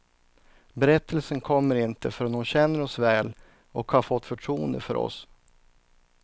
Berättelsen kommer inte förrän hon känner oss väl och har fått förtroende för oss.